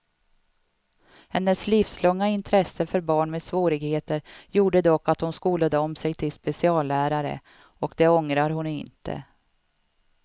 Hennes livslånga intresse för barn med svårigheter gjorde dock att hon skolade om sig till speciallärare, och det ångrar hon inte.